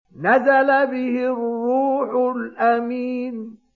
نَزَلَ بِهِ الرُّوحُ الْأَمِينُ